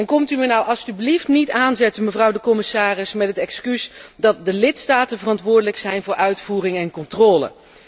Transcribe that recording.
En komt u mij nu alstublieft niet aanzetten, mevrouw de commissaris, met het excuus dat de lidstaten verantwoordelijk zijn voor uitvoering en controle.